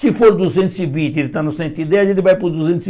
Se for duzentos e vinte, ele está no cento e dez, ele vai para o duzentos e